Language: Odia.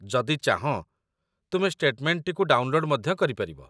ଯଦି ଚାହଁ, ତୁମେ ଷ୍ଟେଟମେଣ୍ଟଟିକୁ ଡାଉନଲୋଡ ମଧ୍ୟ କରିପାରିବ